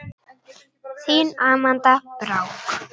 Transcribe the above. Þín Amanda Brák.